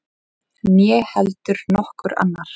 Né heldur nokkur annar.